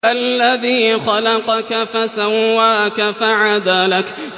الَّذِي خَلَقَكَ فَسَوَّاكَ فَعَدَلَكَ